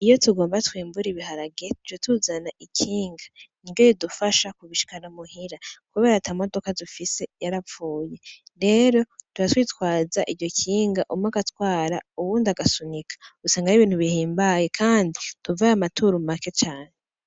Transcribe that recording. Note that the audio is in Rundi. Iyo tugomba twimbure ibiharage ca tuzana ikinga niryo ridufasha kubishikana muhira kubera ata modaka dufise yarapfuye, rero catwitwaza iryo kinga umwe agatwara uwundi agasunika usanga ari ibintu bihimbaye kandi tuvayo amaturu make cane.